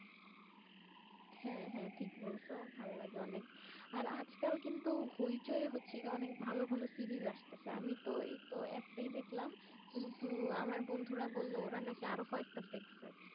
হ্যাঁ হ্যাঁ ঠিক বলছো ভালো লাগে অনেক আজকাল কিন্তু হইচই হচ্ছে অনেক ভালো ভালো সিরিয়াস আসতেছে আমি তো এইতো একটাই দেখলাম কিন্তু আমার বন্ধুরা বলল ওরা নাকি আরো কয়েকটা দেখছি আরো কয়েকটা দেখছি